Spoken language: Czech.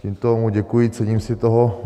Tímto mu děkuji, cením si toho.